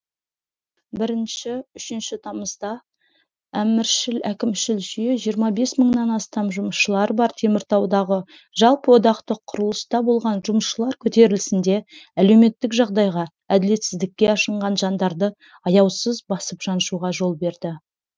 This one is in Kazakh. бірінші үшінші тамызда әміршіл әкімшіл жүйе жиырма бес мыңнан астам жұмысшылары бар теміртаудағы жалпыодақтық құрылыста болған жұмысшылар көтерілісінде әлеуметтік жағдайға әділетсіздікке ашынған жандарды аяусыз басып жаншуға жол берді